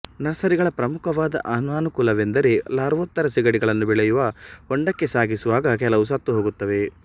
ನರ್ಸರಿಗಳ ಪ್ರಮುಖವಾದ ಅನನಕೂಲವೆಂದರೆ ಲಾರ್ವೋತ್ತರ ಸಿಗಡಿಗಳನ್ನು ಬೆಳೆಯುವ ಹೊಂಡಕ್ಕೆ ಸಾಗಿಸುವಾಗ ಕೆಲವು ಸತ್ತುಹೋಗುತ್ತವೆ